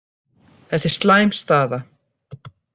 Þetta er slæm staða